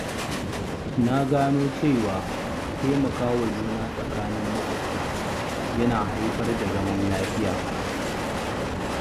Na gano cewa taimakawa juna tsakanin maƙwabta yana haifar da zaman lafiya.